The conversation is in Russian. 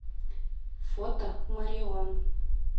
фото мореон